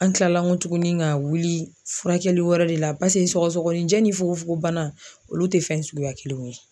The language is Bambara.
An kila nkɔ tuguni ka wuli furakɛli wɛrɛ de la paseke sɔgɔsɔgɔninjɛ ni fukofogon bana olu tɛ fɛn suguya kelenw ye.